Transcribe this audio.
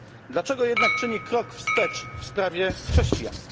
Dlaczego jednak czyni krok wstecz w sprawie chrześcijan?